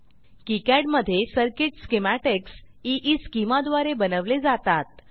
KiCad मधे circuit schematics Eeschema द्वारे बनवले जातात